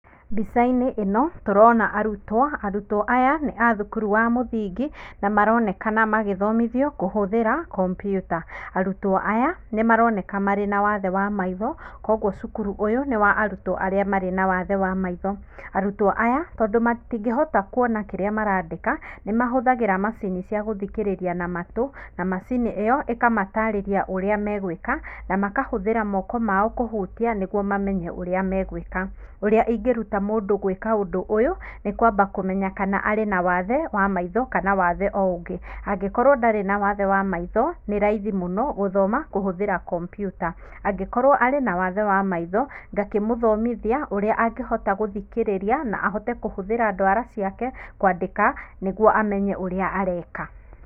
Mbica-inĩ ĩno, tũrona arutwo, arutwo aya, nĩ a thukuru wa mũthingi, na maronekana magĩthomithio kũhũthĩra computer. Arutwo aya, nĩmaroneka marĩ na wathe wa maitho, kwa ũguo cukuru ũyũ nĩwa arutwo arĩa marĩ na wathe wa maitho. Arutwo aya, tondũ matingĩhota kuona kĩrĩa marandĩka, nĩmahũthagĩra macini ciagũthikĩrĩria na matũ, na macini ĩyo, ĩkamatarĩria ũrĩa megwĩka, na makahũthĩra moko mao kũhutia, nĩguo mamenye ũrĩa megwĩka. Ũrĩa ingĩruta mũndũ gwĩka ũndũ ũyũ, nĩkwamba kũmenya kana arĩ na wathe wa maitho, kana wathe oũngĩ. angĩkorwo ndarĩ na wathe wa maitho, nĩ raithi mũno gũthoma kũhũthĩra computer. Angĩkorwo arĩ nawathe wa maitho, ngakĩmũthomithia ũrĩa angĩhota gũthikĩrĩria na ahote kũhũthĩra ndwara ciake kũandĩka, nĩguo amenye ũrĩa areka.